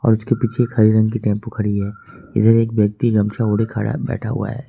और उसके पीछे एक हरे रंग की टेंपो खड़ी है इधर एक व्यक्ति गमछा ओढ़े खड़ा बैठा हुआ है।